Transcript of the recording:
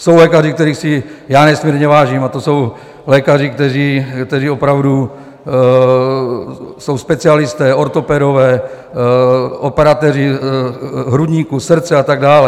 Jsou lékaři, kterých si já nesmírně vážím, a to jsou lékaři, kteří opravdu jsou specialisté, ortopedové, operatéři hrudníku, srdce a tak dále.